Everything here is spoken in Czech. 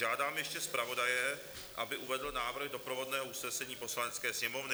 Žádám ještě zpravodaje, aby uvedl návrh doprovodného usnesení Poslanecké sněmovny.